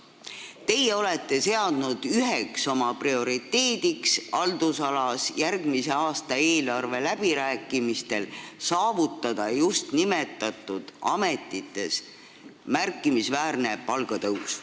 Teie olete seadnud üheks oma prioriteediks haldusalas järgmise aasta eelarve läbirääkimistel saavutada just nimetatud ametites märkimisväärne palgatõus.